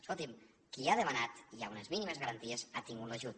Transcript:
escolti’m qui ha demanat i hi ha unes mínimes garanties ha tingut l’ajut